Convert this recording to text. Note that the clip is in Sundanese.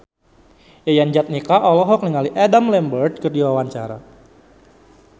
Yayan Jatnika olohok ningali Adam Lambert keur diwawancara